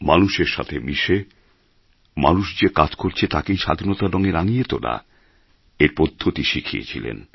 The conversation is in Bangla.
মানুষের সাথে মিশে মানুষ যে কাজ করছে তাকেই স্বাধীনতার রঙে রাঙিয়ে তোলা এর পদ্ধতি শিখিয়েছিলেন